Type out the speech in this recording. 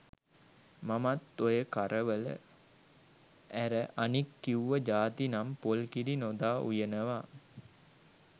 මමත් ඔය කරවල ඇර අනික් කිව්ව ජාති නම් පොල් කිරි නොදා උයනවා.